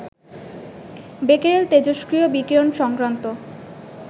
Becquerel তেজস্ক্রিয় বিকীরণ সংক্রান্ত